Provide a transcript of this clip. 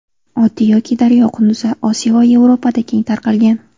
Oddiy yoki daryo qunduzi Osiyo va Yevropada keng tarqalgan.